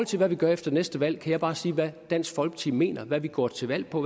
til hvad vi gør efter næste valg kan jeg bare sige hvad dansk folkeparti mener hvad vi går til valg på